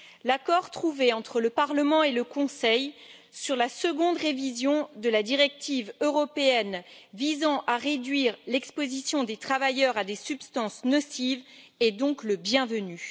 L'accord trouvé entre le Parlement et le Conseil sur la seconde révision de la directive européenne visant à réduire l'exposition des travailleurs à des substances nocives est donc le bienvenu.